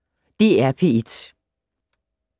DR P1